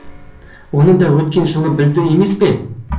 оны да өткен жылы білді емес пе